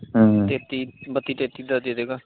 ਤੇਤੀ, ਬੱਤੀ ਤੇਤੀ ਤੱਕ ਦੇਦੇਗਾ।